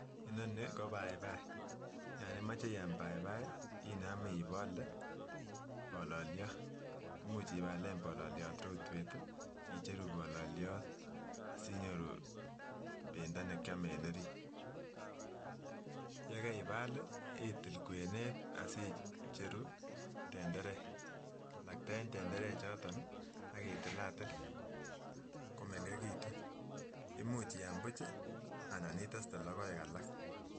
Inonii ko baibai yon imoche iam baibai inome ibole bololiot imuch iblalen bololiot rotwet tii icheruuu bololiot sinyoruu pendo nekiome en orit yekibali itil kwenet tii asicheruu tenterek lakten tenderek choton nii akitilatil komengekitun imuch iam buchi anan iteste lokoek alak.